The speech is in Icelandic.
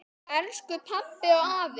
Elsku pabbi og afi.